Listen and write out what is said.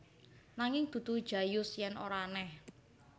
Nanging dudu Jayus yen ora aneh